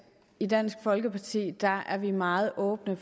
i dansk folkeparti er vi meget åbne